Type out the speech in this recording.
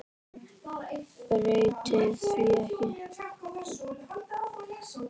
Breyti því ekki.